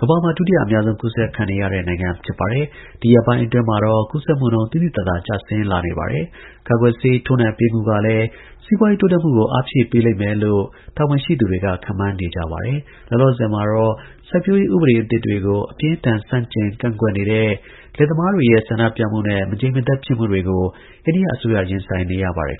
ကမ္ဘာမှာ ဒုတိယ အများဆုံး ကူးစက်ခံရတဲ့နိုင်ငံ ဖြစ်ပါတယ်။ ဒီရက်ပိုင်းအတွင်းမှာတော့ ကူးစက်မှုနှုန်း သိသိသာသာကျဆင်းလာနေပါတယ်။ကာကွယ်ဆေး ထိုးနှံပေးမှုကလည်း စီးပွားရေး တိုးတက်မှုကို အားဖြည့်ပေးလိမ့်မယ်လို့လည်း တာဝန်ရှိသူတွေက ခန့်မှန်းနေကြပါတယ်။ လောလောဆယ်မှာတော့ စိုက်ပျိုးရေး ဥပဒေအသစ်တွေကို အပြင်းအထန် ဆန့်ကျင် ကန့်ကွက်နေတဲ့ လယ်သမားတွေရဲ့ ဆန္ဒပြမှုနဲ့ မငြိမ်မသက် ဖြစ်မှုတွေကို အိန္ဒိယ အစိုးရ ရင်ဆိုင်နေရပါတယ်